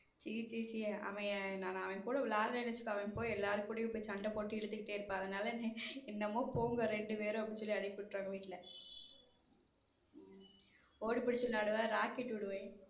C சீ சீ அவன் அவன் கூட விளையாடலைன்னு வச்சுக்கோ அவ போய் எல்லார் கூடயும் போய் சண்டை போட்டு இழுத்துக்கிட்டு இருப்பான் அதனால என்னமோ போங்க ரெண்டு பேரும் அப்படின்னு சொல்லி அனுப்பி விட்டுருவாங்க வீட் ஓடிப் பிடிச்சு விளையாடுவோம் rocket விடுவோம்.